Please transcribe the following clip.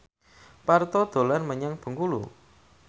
Parto dolan menyang Bengkulu